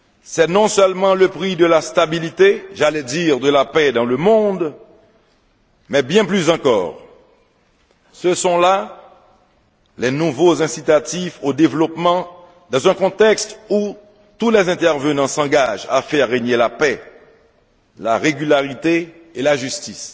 C'est non seulement le prix de la stabilité j'allais dire de la paix dans le monde mais bien plus encore ce sont là les nouveaux incitatifs au développement dans un contexte où tous les intervenants s'engagent à faire régner la paix, la régularité et la justice.